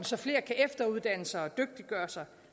så flere kan efteruddanne sig og dygtiggøre sig